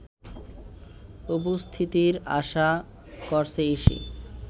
উপস্থিতির আশা করছে ইসি